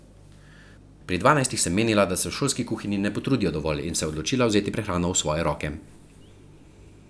Pri dvanajstih sem menila, da se v šolski kuhinji ne potrudijo dovolj, in se odločila vzeti prehrano v svoje roke.